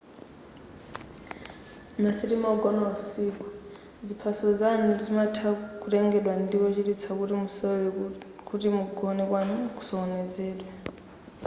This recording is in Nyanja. masitima ogona usiku ziphaso zoyendera zimatha kutengedwa ndi wochititsa kuti musalore kuti kugona kwanu kusokonezedwe